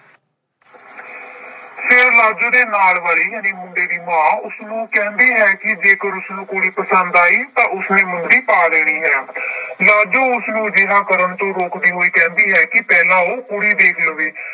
ਫਿਰ ਲਾਜੋ ਦੇ ਨਾਲ ਵਾਲੀ ਜਾਣੀ ਮੁੰਡੇ ਦੀ ਮਾਂ ਉਸਨੂੰ ਕਹਿੰਦੀ ਹੈ ਕਿ ਜੇਕਰ ਉਸਨੂੰ ਕੁੜੀ ਪਸੰਦ ਆਈ ਤਾਂ ਉਸਨੇ ਮੁੰਦਰੀ ਪਾ ਦੇਣੀ ਹੈ ਲਾਜੋ ਉਸਨੂੰ ਅਜਿਹਾ ਕਰਨ ਤੋਂ ਰੋਕਦੀ ਹੋਈ ਕਹਿੰਦੀ ਹੈ ਕਿ ਪਹਿਲਾਂ ਉਹ ਕੁੜੀ ਦੇਖ ਲਵੇ।